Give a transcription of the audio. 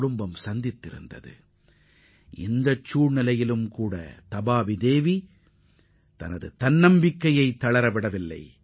இதுபோன்ற வறுமையான நிலையிலும் அவரது ஆர்வமும் அர்ப்பணிப்பும் சற்றும் குறையவில்லை